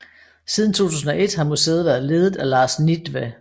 Siden 2001 har museet været ledet af Lars Nittve